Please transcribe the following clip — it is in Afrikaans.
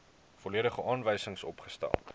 volledige aanwysings opgestel